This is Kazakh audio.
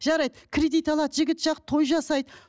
жарайды кредит алады жігіт жақ той жасайды